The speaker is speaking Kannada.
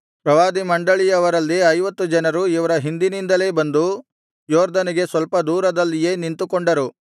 ಪ್ರವಾದಿ ಮಂಡಳಿಯವರಲ್ಲಿ ಐವತ್ತು ಜನರು ಇವರ ಹಿಂದಿನಿಂದಲೇ ಬಂದು ಯೊರ್ದನಿಗೆ ಸ್ವಲ್ಪ ದೂರದಲ್ಲಿಯೇ ನಿಂತುಕೊಂಡರು